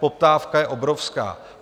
Poptávka je obrovská.